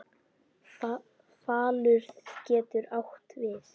Falur getur átt við